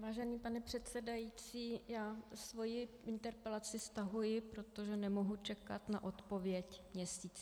Vážený pane předsedající, já svoji interpelaci stahuji, protože nemohu čekat na odpověď měsíc.